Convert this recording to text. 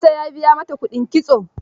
Isa ya biya mata kuɗin kitso.